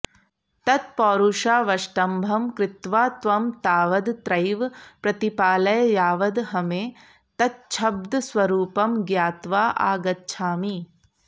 तत्पौरुषावष्टम्भं कृत्वा त्वं तावदत्रैव प्रतिपालय यावदहमेतच्छब्दस्वरूपं ज्ञात्वा आगच्छामि